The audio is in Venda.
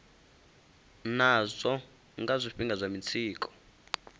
nazwo nga zwifhinga zwa mitsiko